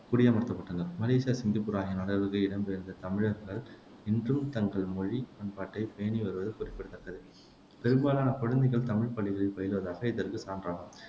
குடியமர்த்தப்பட்டனர் Malaysia, Singapore ஆகிய நாடுகளுக்கு இடம்பெயர்ந்த தமிழர்கள் இன்றும் தங்கள் மொழி, பண்பாட்டைப் பேணி வருவது குறிப்பிடத்தக்கது பெரும்பாலான குழந்தைகள் தமிழ்ப் பள்ளிகளில் பயிலுவதாக இதற்குச் சான்றாகும்